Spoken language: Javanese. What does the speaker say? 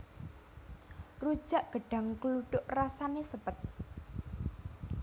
Rujak gedhang kluthuk rasané sepet